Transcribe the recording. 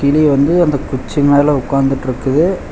கிளி வந்து அந்த குச்சி மேல உக்காந்துட்ருக்கு.